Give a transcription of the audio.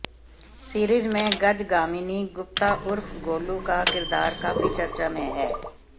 series में गजगामिनी गुप्ता उर्फ गोलू का किरदार काफी चर्चा में है